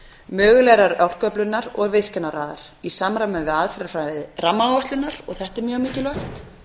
mögulegrar orkuöflunar og virkjanaraðar í samræmi við aðferðafræði rammaáætlunar og þetta er mjög mikilvægt